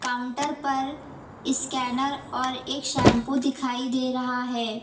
Counter पर scanner और एक शैंपू दिखाई दे रहा है।